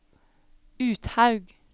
Uthaug